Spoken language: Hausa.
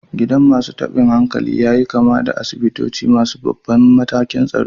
Gidan masu tabin hankali ya yi kama da asibitoci masu babban matakin tsaro.